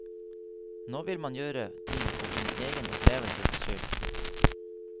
Nå vil man gjøre ting for sin egen opplevelses skyld.